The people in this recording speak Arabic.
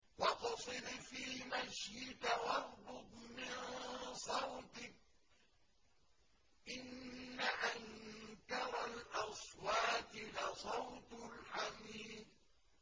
وَاقْصِدْ فِي مَشْيِكَ وَاغْضُضْ مِن صَوْتِكَ ۚ إِنَّ أَنكَرَ الْأَصْوَاتِ لَصَوْتُ الْحَمِيرِ